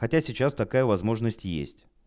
хотя сейчас такая возможность есть